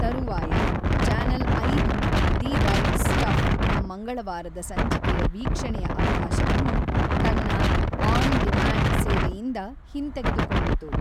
ತರುವಾಯ ಚಾನೆಲ್ ಐದು the right ಸ್ಟಫ್‌ನ ಮಂಗಳವಾರದ ಸಂಚಿಕೆಯ ವಿಕ್ಷಣೆಯ ಅವಕಾಶವನ್ನು ತನ್ನ ಆನ್‌ ಡಿಂಮ್ಯಾಂಡ್ ಸೇವೆಯಿಂದ‌ ಹಿಂತೆಗೆದುಕೊಂಡಿತು.